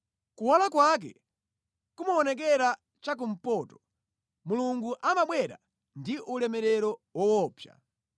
Kuwala kwake kumaonekera cha kumpoto; Mulungu amabwera ndi ulemerero woopsa.